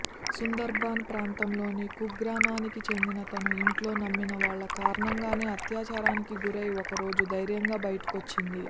సుందర్బన్ ప్రాంతంలోని కుగ్రామానికి చెందిన తను ఇంట్లో నమ్మినవాళ్ల కారణంగానే అత్యాచారానికి గురై ఓ రోజు ధైర్యంగా బయటకొచ్చింది